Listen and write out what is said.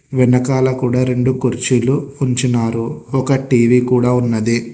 వెనకాల కూడా రెండు కుర్చీలు ఉంచినారు ఒక టీ_వీ కూడా ఉన్నది.